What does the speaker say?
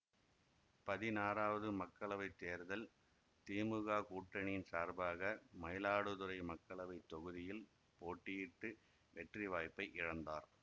பதினாறாவது மக்களவை தேர்தல் திமுக கூட்டணியின் சார்பாக மயிலாடுதுறை மக்களவை தொகுதியில் போட்டியிட்டு வெற்றிவாய்ப்பை இழந்தார்